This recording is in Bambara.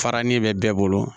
Farali bɛ bɛɛ bolo